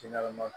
Ji ɲɛnama